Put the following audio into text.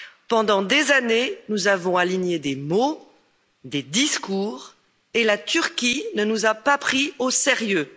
Pendant des années, nous avons aligné des mots, des discours, et la Turquie ne nous a pas pris au sérieux.